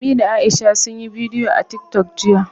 Ummi da Aisha sun yi bidiyo a TikTok jiya.